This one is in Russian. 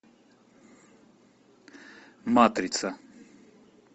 матрица